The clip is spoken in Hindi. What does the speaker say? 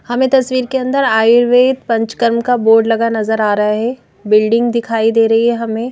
हमें तस्वीर के अंदर आयुर्वेद पंचकर्म का बोर्ड लगा नजर आ रहा है बिल्डिंग दिखाई दे रही है हमें।